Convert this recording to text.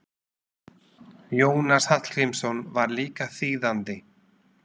Jónas Hallgrímsson var líka þýðandi.